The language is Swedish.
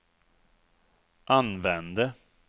använde